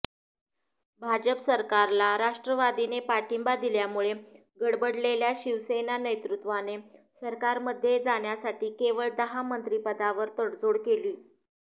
भाजप सरकारला राष्ट्रवादीने पाठिंबा दिल्यामुळे गडबडलेल्या शिवसेना नेतृत्वाने सरकारमध्ये जाण्यासाठी केवळ दहा मंत्रिपदावर तडजोड केली